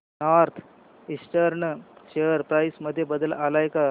north Eastern share price मध्ये बदल आलाय का